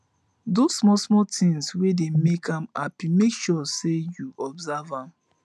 dose smal smal tins wey dey mek am hapi mek sure sey yu observe am